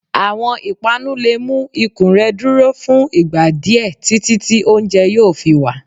Awọn ipanú le mu ikùn rẹ duro fún ìgbà diẹ titi ti oúnjẹ yoo fí wa.